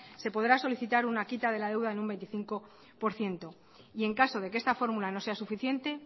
se podrá solicitar una quita de la de deuda en un veinticinco por ciento y en caso de que esta fórmula no sea suficiente